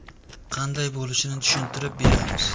Qanday bo‘lishini tushuntirib beramiz.